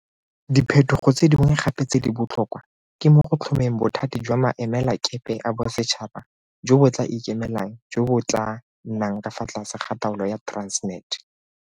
Diphetogo tse dingwe gape tse di botlhokwa ke mo go tlhomeng Bothati jwa Maemelakepe a Bosetšhaba jo bo tla ikemelang jo bo tla nnang ka fa tlase ga taolo ya Transnet.